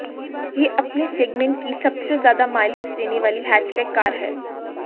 ये अपने सेग्मेंट की सबसे ज्यादा माइलेज देने वाली हैचबैक कार है